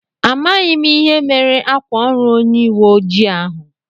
Amághi m ihe mere ákwà órù onye uwe ojii ahụ